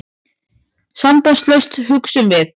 Sambandslaust, hugsuðum við.